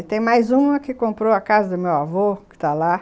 E tem mais uma que comprou a casa do meu avô, que tá lá.